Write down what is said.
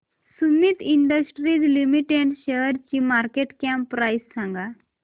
Sumeet industries limited शेअरची market cap price सांगा